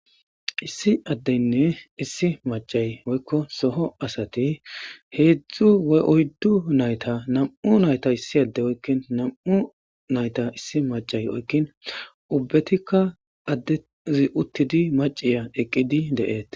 Issi addeynne issi macay woykko soho asati heedzdzu oyddu nayta nam'u nayta issi adde oykkin nam'u nayta issi macay oykkin ubbetikka addezi uttidi maciya eqqidi de'eet